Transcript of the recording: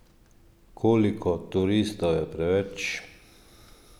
Koliko turistov je preveč?